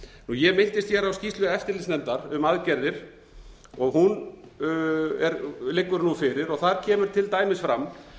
ég minntist hér á skýrslu eftirlitsnefndar um aðgerðir hún liggur nú fyrir þar kemur til dæmis fram